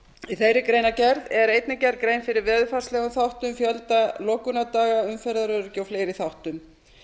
í þeirri greinargerð er einnig gerð grein fyrir veðurfarslegum þáttum fjölda lokunardaga umferðaröryggi og fleiri þáttum